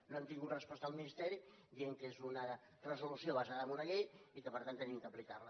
no hem tingut resposta del ministeri dient que és una resolució basada en una llei i que per tant hem d’aplicar la